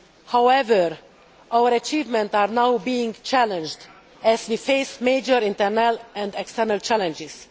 However, our achievements are now being challenged as we face major internal and external challenges.